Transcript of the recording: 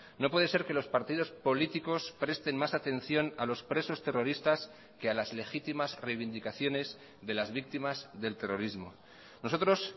no puede ser que los partidos políticos presten más atención a los presos terroristas que a las legitimas reivindicaciones de las víctimas del terrorismo nosotros